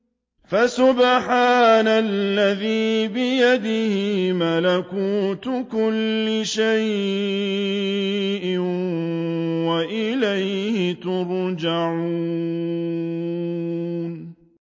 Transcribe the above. فَسُبْحَانَ الَّذِي بِيَدِهِ مَلَكُوتُ كُلِّ شَيْءٍ وَإِلَيْهِ تُرْجَعُونَ